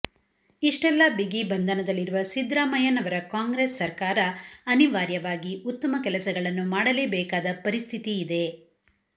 ಇಷ್ಟೆಲ್ಲಾ ಬಿಗಿ ಬಂಧನದಲ್ಲಿರುವ ಸಿದ್ರಾಮಯ್ಯನವರ ಕಾಂಗ್ರೆಸ್ ಸರ್ಕಾರ ಅನಿವಾರ್ಯವಾಗಿ ಉತ್ತಮ ಕೆಲಸಗಳನ್ನು ಮಾಡಲೇಬೇಕಾದ ಪರಿಸ್ಥಿತಿ ಇದೆ